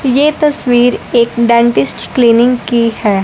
ये तस्वीर एक डेंटिस्ट क्लीनिंग की है।